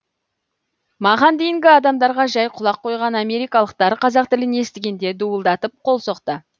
маған дейінгі адамдарға жәй құлақ қойған америкалықтар қазақ тілін естігенде дуылдатып қол соқты